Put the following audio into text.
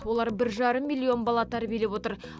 олар бір жарым миллион бала тәрбиелеп отыр